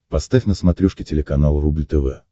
поставь на смотрешке телеканал рубль тв